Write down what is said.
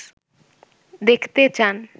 দেখতে চান